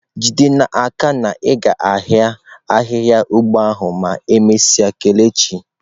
Jide n'aka na i ga-ahia ahihia ugbo ahu emesia kelechi.